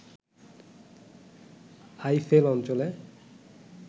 Eiffel অঞ্চলে